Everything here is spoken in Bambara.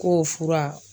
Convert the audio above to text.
K'o fura